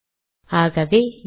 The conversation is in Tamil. ஆகவே